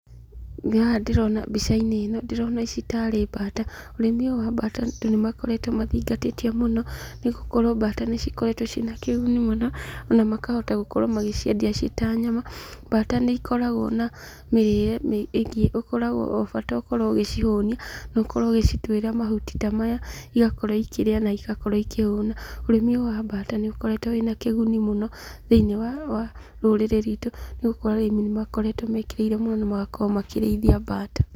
Haha ndĩrona mbica-inĩ ĩno ndĩrona ici tarĩ mbata, ũrĩmi wa mbata andũ nĩmakoretwo mathingatĩtio mũno , nĩgũkorwo mbata nĩ cikoretwo na kĩguni mũno , ona makahota gũciendia ci tarĩ nyama, mbata nĩ ikoragwo na mĩrĩre ingĩ, bata ũkorwo ũgĩcihũnia na ũkorwo ũgĩcituĩra mahuti ta maya igakorwo igĩkĩria na igakorwo igĩkĩhũna, ũrĩmi ũyũ wa mbata nĩ ũkoretwo ũrĩ na kĩguni mũno thĩiniĩ wa rũrĩrĩ rwitũ, nĩgũkorwo arĩmi nĩmekĩrĩire mũno na magakorwo makĩrĩithia mbata.